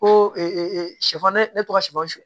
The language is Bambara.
Ko sɛfan ne tɔgɔ sɔ sɔ